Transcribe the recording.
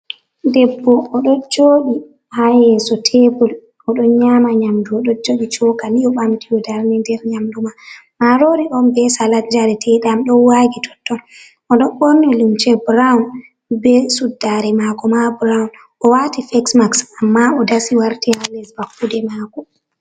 Debbo o ɗo joɗi ha yeso tebur o ɗo nyama nyamdu, o ɗo jogi chokali o ɓamti o darni nder nyamdu mai, marori on be salad jareteɗam ɗo wagi totton, o ɗon ɓorni lumce brown be suddare mako ma brown, o wati facemax amma o dasi warti hales bakkude mako.